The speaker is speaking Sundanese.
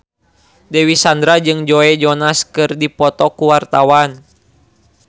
Dewi Sandra jeung Joe Jonas keur dipoto ku wartawan